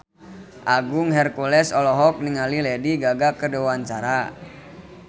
Agung Hercules olohok ningali Lady Gaga keur diwawancara